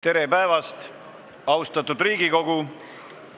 Tere päevast, austatud Riigikogu!